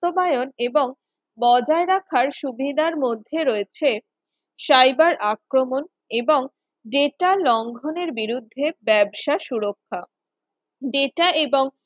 বাস্তবায়ন এবং বজায় রাখার সুবিধার মধ্যে রয়েছে cyber আক্রমণ এবং data লঙ্ঘনের বিরুদ্ধে ব্যবসা সুরক্ষা data এবং